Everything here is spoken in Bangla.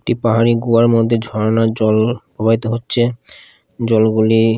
একটি পাহাড়ি গুহার মধ্যে ঝর্ণার জল প্রবাহিত হচ্ছে জলগুলি--